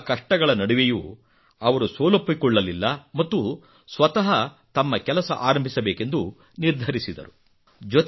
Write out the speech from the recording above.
ಇಂತಹ ಕಷ್ಟಗಳ ನಡುವೆಯೂ ಅವರು ಸೋಲೊಪ್ಪಿಕೊಳ್ಳಲಿಲ್ಲ ಮತ್ತು ಸ್ವಂತಃ ತಮ್ಮ ಕೆಲಸ ಆರಂಭಿಸಬೇಕೆಂದು ನಿರ್ಧರಿಸಿದರು